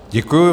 Děkuji.